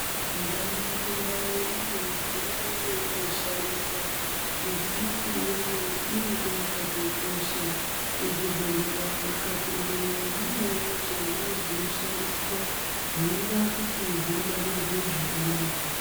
Ndau ngendau ine midziyo yeinoshandisa. Midziyo iyoyo inenge yakatokosha. Muzvibhehlera ukapindemwo munewo zvemwo zvinoshandiswa, zvinoda kuti zvingwarirwe zvakanaka.